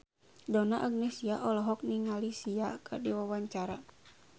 Donna Agnesia olohok ningali Sia keur diwawancara